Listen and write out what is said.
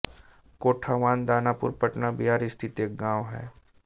कोठावान दानापुर पटना बिहार स्थित एक गाँव है